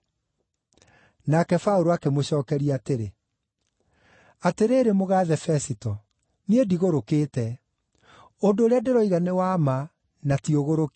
Nake Paũlũ akĩmũcookeria atĩrĩ, “Atĩrĩrĩ mũgaathe Fesito, niĩ ndigũrũkĩte. Ũndũ ũrĩa ndĩroiga nĩ wa ma na ti ũgũrũki.